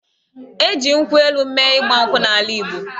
E ji nkwụ elu mee Ịgba nkwụ n'ala Igbo.